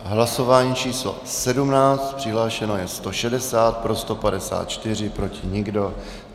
Hlasování číslo 17, přihlášeno je 160, pro 154, proti nikdo.